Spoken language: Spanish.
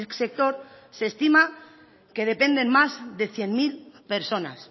sector se estima que dependen más de cien mil personas